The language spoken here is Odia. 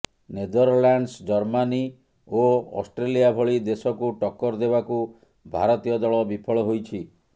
ନେଦରଲ୍ୟାଣ୍ଡସ୍ ଜର୍ମାନୀ ଓ ଅଷ୍ଟ୍ରେଲିଆ ଭଳି ଦେଶକୁ ଟକ୍କର ଦେବାକୁ ଭାରତୀୟ ଦଳ ବିଫଳ ହୋଇଛି